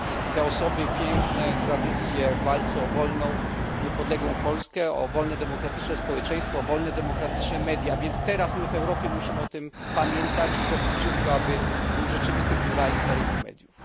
Te osoby mają piękne tradycje w walce o wolną i niepodległą Polskę, o wolne i demokratyczne społeczeństwo, o wolne i demokratyczne media. Teraz w Europie musimy o tym pamiętać i zrobić wszystko, aby nastał rzeczywisty pluralizm na rynku mediów.